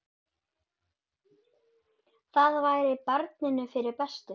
Það væri barninu fyrir bestu.